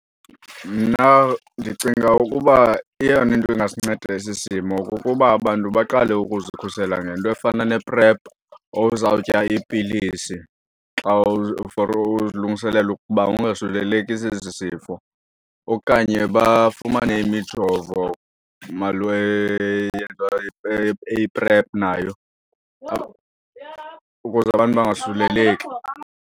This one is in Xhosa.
Mna ndicinga ukuba eyona nto ingasinceda esi simo kukuba abantu baqale ukuzikhusela ngento efana ne-prep ozawutya iipilisi xa for ulungiselela ukuba ungasuleleki sesi sifo okanye bafumane imijovo eyiprephu nayo ukuze abantu bangasuleleki